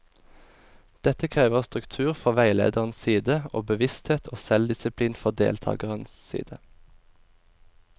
Dette krever struktur fra veilederens side, og bevissthet og selvdisiplin fra deltakernes side.